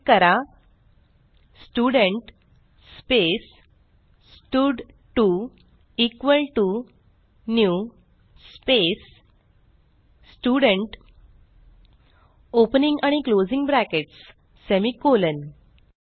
type करा student space स्टड2 equal to new space student opening आणि क्लोजिंग ब्रॅकेट्स semi कॉलन